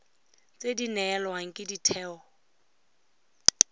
tse di neelwang ke ditheo